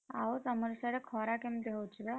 ଆଉ ତମର ସାଡେ ଖରା କେମିତି ହଉଛି ବା?